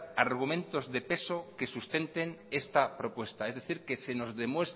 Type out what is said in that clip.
argumentos de peso que sustenten esta propuesta es decir